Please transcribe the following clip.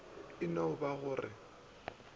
e no ba go re